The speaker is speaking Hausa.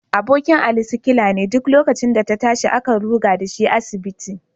Abokin Ali sikila ne, duk lokacin da ta tashi, akan ruga da shi asibiti